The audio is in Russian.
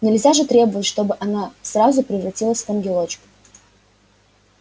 нельзя же требовать чтобы она сразу превратилась в ангелочка